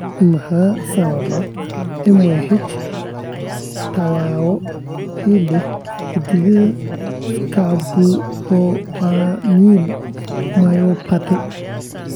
Maxaa sababa MYH tadhawo ee la xidhiidha scapupoperoneal myopathy?